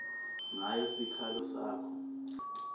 ngayo sikhalo sakho